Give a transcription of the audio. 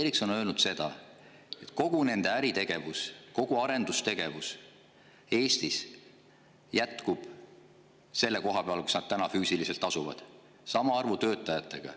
Ericsson on öelnud seda, et kogu nende äritegevus, kogu arendustegevus Eestis jätkub selle koha peal, kus nad füüsiliselt asuvad, sama arvu töötajatega.